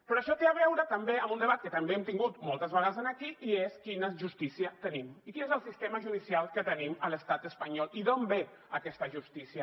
però això té a veure també amb un debat que també hem tingut moltes vegades aquí i és quina justícia tenim i quin és el sistema judicial que tenim a l’estat espanyol i d’on ve aquesta justícia